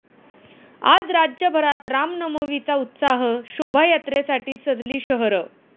आज राज्यभरात रामनवमीचा उत्साह, शोभायात्रेसाठी सजली शहरं